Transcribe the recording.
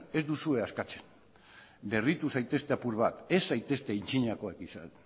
ez duzue askatzen berritu zaitezte apur bat ez zaitezte antzinakoak izan